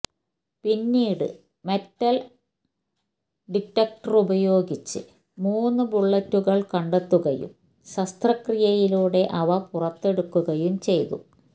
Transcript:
പിന്നീട് മെറ്റല് ഡിറ്റക്ടറുപയോഗിച്ച് മൂന്ന് ബുള്ളറ്റുകള് കണ്ടെത്തുകയും ശസ്ത്രക്രിയയിലൂടെ അവ പുറത്തെടുക്കുകയും ചെയ്തു